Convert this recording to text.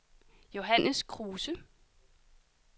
Johannes Kruse